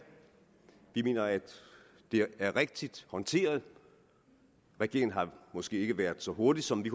vi mener at det er rigtigt håndteret regeringen har måske ikke været så hurtig som vi